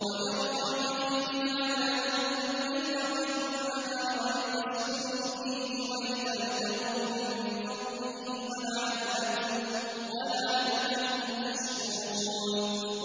وَمِن رَّحْمَتِهِ جَعَلَ لَكُمُ اللَّيْلَ وَالنَّهَارَ لِتَسْكُنُوا فِيهِ وَلِتَبْتَغُوا مِن فَضْلِهِ وَلَعَلَّكُمْ تَشْكُرُونَ